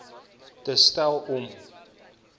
te stel om